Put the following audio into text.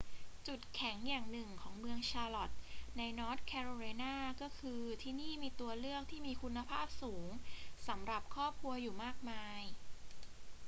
จุดแข็งอย่างหนึ่งของเมืองชาร์ล็อตต์ในนอร์ทแคโรไลนา ก็คือ ที่นี่มีตัวเลือกที่มีคุณภาพสูงสำหรับครอบครัวอยู่มากมาย